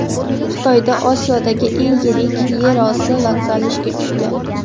Xitoyda Osiyodagi eng yirik yer osti vokzali ishga tushdi.